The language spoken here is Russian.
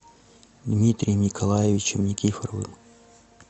дмитрием николаевичем никифоровым